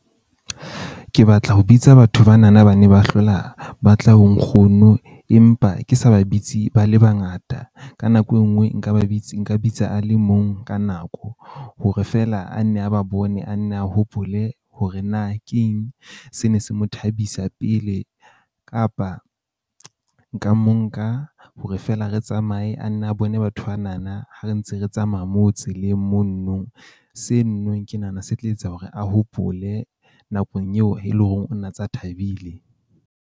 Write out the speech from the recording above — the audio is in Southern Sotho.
Ke batla ho bitsa batho bana na ba ne ba hlola ba tla ho nkgono, empa ke sa ba bitse ba le bangata. Ka nako e nngwe nka ba bitse nka bitsa a le mong ka nako, hore feela a nne a ba bone a nne a hopole hore na ke eng se ne se mo thabisa pele. Kapa nka mo nka hore feela re tsamaye a nne a bone batho bana na ha re ntse re tsamaya moo tseleng mono no. Seno no ke nahana se tla etsa hore a hopole nakong eo e leng hore o na tsa thabile.